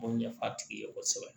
M'o ɲɛf'a tigi ye kosɛbɛ